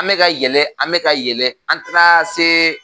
An mɛ ka yɛlɛ an mɛ ka yɛlɛ an taara se